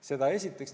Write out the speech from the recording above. Seda esiteks.